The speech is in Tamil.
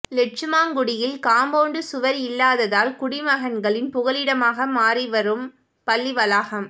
லெட்சுமாங்குடியில் காம்பவுண்ட் சுவர் இல்லாததால் குடிமகன்களின் புகலிடமாக மாறி வரும் பள்ளி வளாகம்